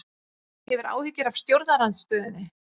Hefur áhyggjur af stjórnarandstöðunni